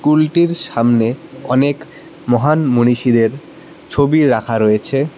স্কুলটির সামনে অনেক মহান মনীষীদের ছবি রাখা রয়েছে।